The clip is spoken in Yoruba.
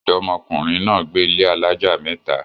ọ̀dọ́mọkùnrin náà gbé ilé alájà mẹ́ta